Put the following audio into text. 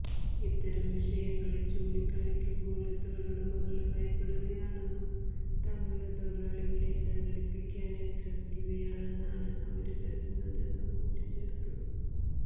ഇത്തരം വിഷയങ്ങള് ചൂണ്ടിക്കാണിക്കുമ്പോള് തൊഴിലുടമകള് ഭയപ്പെടുകയാണെന്നും തങ്ങള് തൊഴിലാളികളെ സംഘടിപ്പിക്കാന് ശ്രമിക്കുകയാണെന്നാണ് അവര് കരുതുന്നതെന്നും കൂട്ടിച്ചേര്ത്തു